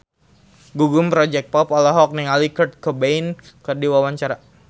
Gugum Project Pop olohok ningali Kurt Cobain keur diwawancara